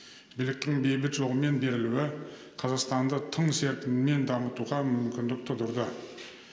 биліктің бейбіт жолмен берілуі қазақстанды тың серпінмен дамытуға мүмкіндік тудырды